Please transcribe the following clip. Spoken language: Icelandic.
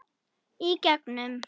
Í gegnum